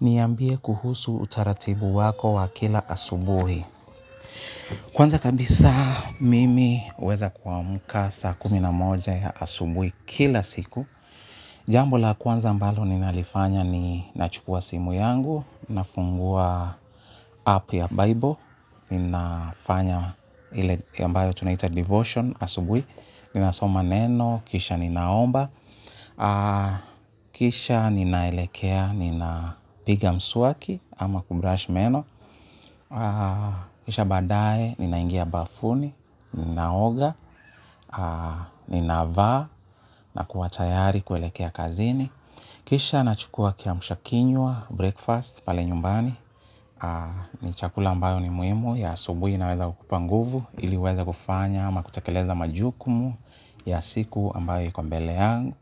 Niambie kuhusu utaratibu wako wa kila asubuhi. Kwanza kabisa mimi huweza kuamuka saa kumi na moja ya asubuhi kila siku. Jambo la kwanza ambalo ninalifanya ni nachukua simu yangu, nafungua app ya Bible, ninafanya ile ambayo tunaita devotion asubuhi, ninasoma neno, kisha ninaomba, kisha ninaelekea, nina piga mswaki, ama kubrush meno, kisha baada ye ninaingia bafuni, ninaoga, ninavaa, na kuwa tayari kuelekea kazini. Kisha nachukua kiamusha kinywa, breakfast, pale nyumbani, ni chakula ambayo ni muhimu, ya asubuhi inaweza kukupa nguvu, ili uweza kufanya, ama kutekeleza majukumu, ya siku ambayo iko mbele yangu.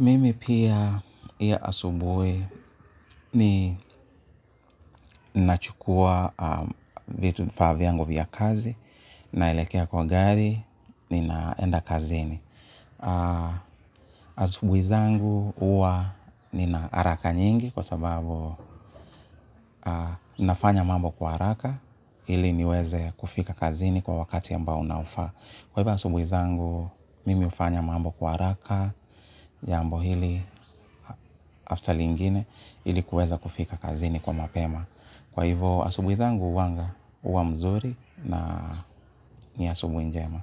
Mimi pia pia asubuhi ni nachukua vifaa vyangu vya kazi. Naelekea kwa gari, ninaenda kazini. Asubuhi zangu huwa nina haraka nyingi. Kwa sababu nafanya mambo kwa haraka ili niweze kufika kazini kwa wakati ambao unaofaa. Kwa hivyo asubuhi zangu mimi hufanya mambo kwa haraka. Jambo hili after lingine ili kuweza kufika kazini kwa mapema. Kwa hivo asubuhi zangu huwanga huwa mzuri na ni asubuhi njema.